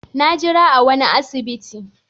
Na jira awanni a asibiti